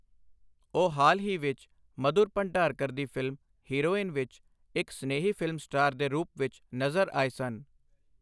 ਉਹ ਹਾਲ ਹੀ ਵਿੱਚ ਮਧੁਰ ਭੰਡਾਰਕਰ ਦੀ ਫ਼ਿਲਮ ਹੀਰੋਇਨ ਵਿੱਚ ਇੱਕ ਸਨੇਹੀ ਫ਼ਿਲਮ ਸਟਾਰ ਦੇ ਰੂਪ ਵਿੱਚ ਨਜ਼ਰ ਆਏ ਸਨ।